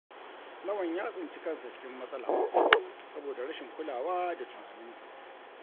Lawan ya tsinci kansa cikin matsala saboda rashin kulawa da tunaninsa.